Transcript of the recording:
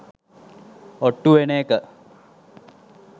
ඔට්ටු වෙන එක